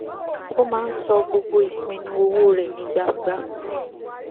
ó máa ń sọ gbogbo ìpinnu owó rẹ ní gbangba